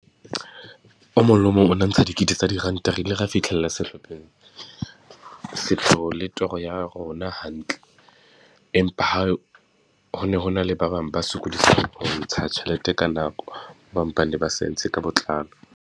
O mong le o mong o na ntsha dikete tsa diranta. Re ile ra fitlhella sehlopheng, sepheo le toro ya rona hantle. Empa ha ho ne hona le ba bang ba sokodisang ho ntsha tjhelete ka nako, ba ba sa e ntshe ka botlalo.